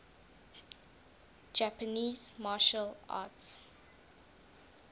japanese martial arts